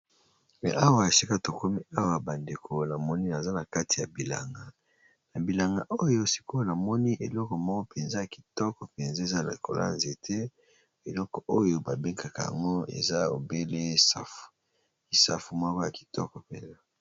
Esika tokomi awa, ezali bongo na kati ya bilanga, na bilanga yango oyo tomoni nzete ya safu